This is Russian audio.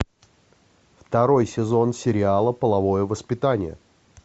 второй сезон сериала половое воспитание